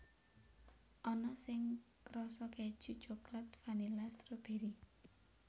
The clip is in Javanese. Ana sing rasa kèju coklat vanila stroberi